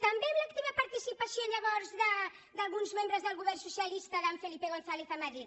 també amb l’activa participació llavors d’alguns membres del govern socialista d’en felipe gonzález a madrid